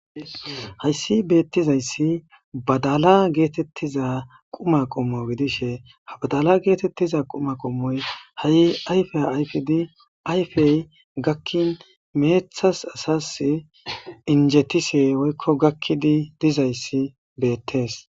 Hayssi beettizayssi badala geetettiza quma qommo gidishegidishe ha badala geetettiza quma qommoy ha'i ayfe ayfin ayfey gakkin meeththas asas injjetishe woykko gakkidi dizayssi beettes.